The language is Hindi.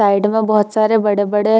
साइड में बहोत सारे बड़े-बड़े --